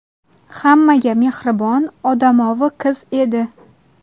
Hammaga mehribon, odamovi qiz edi.